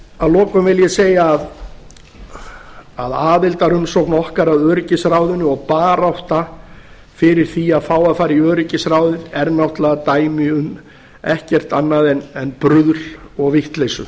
að lokum vil ég segja að aðildarumsókn okkar að öryggisráðinu og barátta fyrir því að fá að fara í öryggisráðið er náttúrlega dæmi um ekkert annað en bruðl og vitleysu